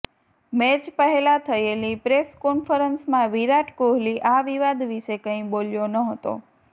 match પહેલા થયેલી press કોન્ફરન્સમાં વિરાટ કોહલી આ વિવાદ વિશે કઈ બોલ્યો નહતો